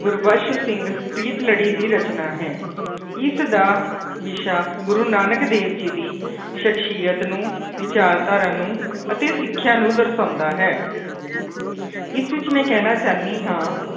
ਗੁਰਬਖਸ ਸਿੰਘ ਪ੍ਰੀਤਲੜੀ ਦੀ ਰਚਨਾ ਹੈ ਇਸਦਾ ਵਿਸ਼ਾ ਗੁਰੂ ਨਾਨਕ ਦੇਵ ਜੀ ਦੀ ਸਖਸ਼ੀਅਤ ਨੂੰ ਵਿਚਾਰਧਾਰਾਂ ਨੂੰ ਅਤੇ ਸਿੱਖਿਆ ਨੂੰ ਦਰਸਾਉਂਦਾ ਹੈ ਇਸ ਵਿੱਚ ਮੈਂ ਕਹਿਣਾ ਚਾਹੁੰਦੀ ਹਾਂ